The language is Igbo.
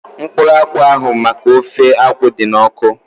Mkpụrụ akwụ ahu maka ofe akwụ dị n'ọkụ